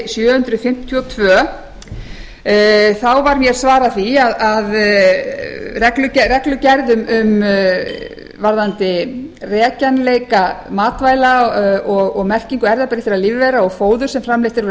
sjö hundruð fimmtíu og tvö þá var ég að svara því að reglugerð varðandi rekjanleika matvæla og merkingu erfðabreyttra lífvera og fóðurs sem framleitt er úr